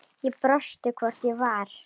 Ég brosti, hvort ég var!